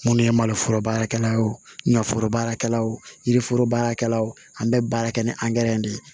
Minnu ye maloforo baarakɛla ye wo ɲɛforo baarakɛlaw yiriforo baarakɛlaw an bɛ baara kɛ ni angɛrɛ de ye